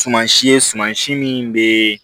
Suman si ye suman si min bɛ